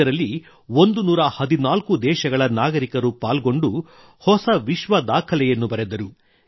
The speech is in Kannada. ಇದರಲ್ಲಿ 114 ದೇಶದ ನಾಗರಿಕರು ಪಾಲ್ಗೊಂಡು ಹೊಸ ವಿಶ್ವದಾಖಲೆಯನ್ನು ಬರೆದರು